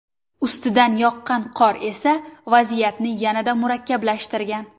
Ustidan yoqqan qor esa vaziyatni yanada murakkablashtirgan.